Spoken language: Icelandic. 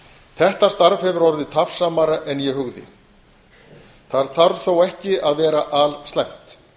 þetta starf hefur orðið tafsamara en ég hugði það þarf þó ekki að vera alslæmt